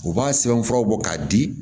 U b'a sɛbɛnfuraw bɔ k'a di